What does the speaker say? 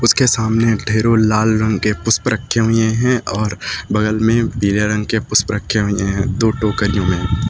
इसके सामने ढ़ेरों लाल रंग के पुष्प रखे हुये हैं और बगल में पीले रंग के पुष्प रखे हुये हैं दो टोकरियों में।